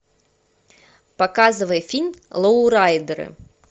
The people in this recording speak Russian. показывай фильм лоурайдеры